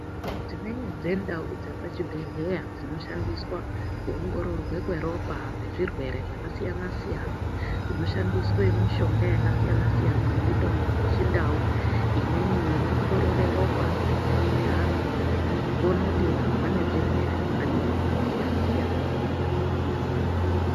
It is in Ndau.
Dzimweni dzendau dzepachibhedhlera dzinoshandiswe kuongororwe kweropa kwezvirwere zvakasiyana -siyana zvi oshandiswa mishonga yakasiyana nemitombo yechindau imwe inoongirirora ropa neanhu nekuona kuti vanhu vanezvirwere zvakadini siyana -siyana mundharaunda.